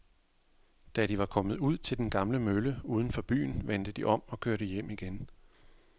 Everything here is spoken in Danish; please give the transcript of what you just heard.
Da de var kommet ud til den gamle mølle uden for byen, vendte de om og kørte hjem igen.